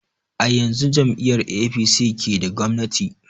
A yanzun jam'iyar apc ke da gwamnati